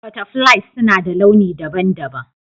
Butterflies suna da launi daban-daban.